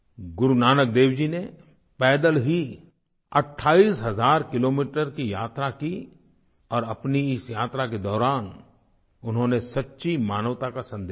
गुरु नानक देव जी ने पैदल ही 28 हज़ार किलोमीटर की यात्रा की और अपनी इस यात्रा के दौरान उन्होंने सच्ची मानवता का सन्देश दिया